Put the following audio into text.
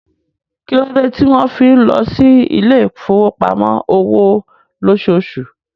Kí ló dé tí wọ́n fi ń lọ sí ilé ìfowópamọ́ òwò lóṣooṣù?